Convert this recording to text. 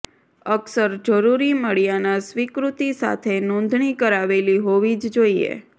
અક્ષર જરૂરી મળ્યાના સ્વીકૃતિ સાથે નોંધણી કરાવેલી હોવી જ જોઈએ